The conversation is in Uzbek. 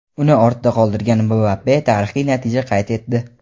uni ortda qoldirgan Mbappe tarixiy natija qayd etdi.